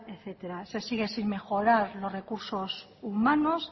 etcétera se sigue sin mejorar los recursos humanos